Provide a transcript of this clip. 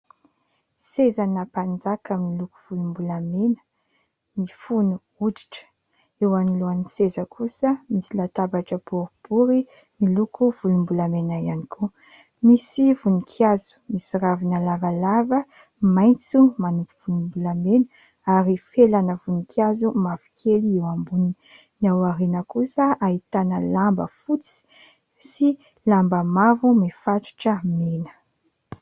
Sezana mpanjaka miloko volombolamena mifono hoditra, eo anoloanan'ny seza kosa misy latabatra boribory miloko volombolamena ihany koa, misy voninkazo misy ravina lavalava maitso manopy volombolamena ary felana voninkazo mavokely eo amboniny. Ny aoriana kosa ahitana lamba fotsy sy lamba mavo mifatotra mena.